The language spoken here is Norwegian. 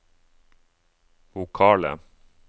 vokale